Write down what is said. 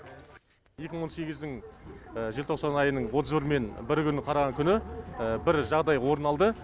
екі мың он сегіздің желтоқсан айының отыз бірінен бірі күні қараған күні бір жағдай орын алды